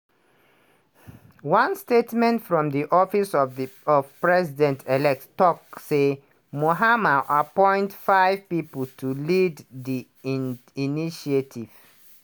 one statement from di office of president-elect tok say mahama appoint five pipo to lead di initiative.